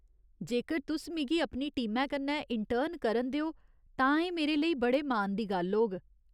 जेकर तुस मिगी अपनी टीमै कन्नै इंटर्न करन देओ तां एह् मेरे लेई बड़े मान दी गल्ल होग।